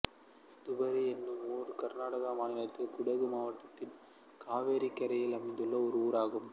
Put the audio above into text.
துபாரே என்னும் ஊர் கர்நாடக மாநிலத்தின் குடகு மாவட்டத்தில் காவிரிக் கரையில் அமைந்துள்ள ஓர் ஊர்